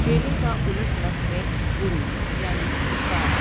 چیلے کا الٹ لفظ ہے گرو یعنی استاد۔